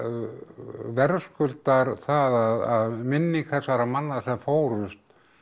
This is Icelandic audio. verðskuldar það að minning þessara manna sem fórust